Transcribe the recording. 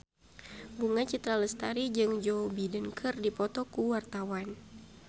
Bunga Citra Lestari jeung Joe Biden keur dipoto ku wartawan